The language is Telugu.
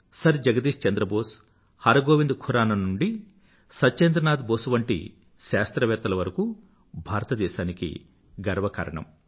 సర్ జగదీశ్ చంద్ర బోస్ హర్ గోవింద్ ఖురానా నుండి సత్యేంద్రనాథ్ బోస్ వంటి శాస్త్రవేత్తలు భారతదేశానికి గర్వకారణM